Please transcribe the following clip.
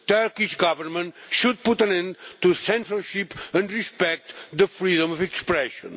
The Turkish Government should put an end to censorship and respect freedom of expression.